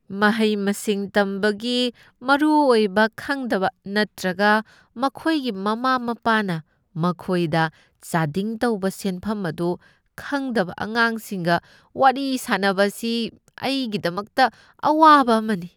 ꯃꯍꯩ ꯃꯁꯤꯡ ꯇꯝꯕꯒꯤ ꯃꯔꯨꯑꯣꯏꯕ ꯈꯪꯗꯕ ꯅꯠꯇ꯭ꯔꯒ ꯃꯈꯣꯏꯒꯤ ꯃꯃꯥ ꯃꯄꯥꯅ ꯃꯈꯣꯏꯗ ꯆꯥꯗꯤꯡ ꯇꯧꯕ ꯁꯦꯟꯐꯝ ꯑꯗꯨ ꯈꯪꯗꯕ ꯑꯉꯥꯡꯁꯤꯡꯒ ꯋꯥꯔꯤ ꯁꯥꯅꯕ ꯑꯁꯤ ꯑꯩꯒꯤꯗꯃꯛꯇ ꯑꯋꯥꯕ ꯑꯃꯅꯤ ꯫